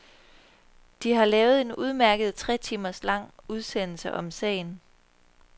De har lavet en udmærket tre timers lang udsendelse om sagen.